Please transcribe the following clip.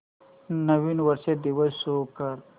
नवीन वर्ष दिवस शो कर